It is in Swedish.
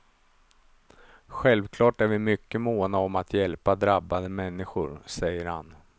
Självklart är vi mycket måna om att hjälpa drabbade människor, säger han.